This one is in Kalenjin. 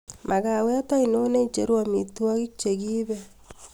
magawet ainon neicheru omitwohik chegiibe